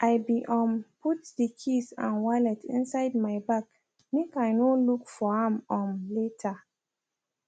i be um put de keys and wallet inside my bag make i no look for am um later